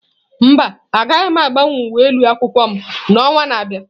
Mba, agaghị m agbanwe uwe ụlọ akwụkwọ m n'ọnwa na-abịa.